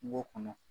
Kungo kɔnɔ